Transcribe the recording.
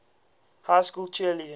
high school cheerleading